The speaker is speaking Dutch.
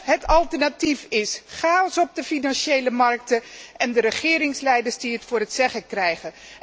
Het alternatief is chaos op de financiële markten en de regeringsleiders die het voor het zeggen krijgen.